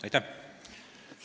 Aitäh!